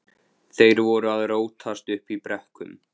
Þeir voru að rótast uppi í brekkum.